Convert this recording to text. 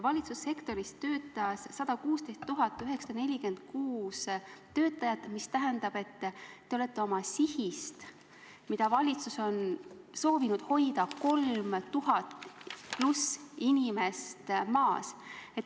Valitsussektoris töötas 116 946 töötajat, mis tähendab, et te olete oma sihist, mida valitsus on soovinud hoida, 3000+ inimest maas.